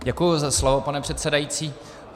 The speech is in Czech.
Děkuji za slovo, pane předsedající.